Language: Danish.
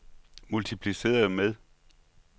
multipliceret med